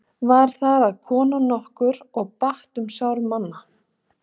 Var þar að kona nokkur og batt um sár manna.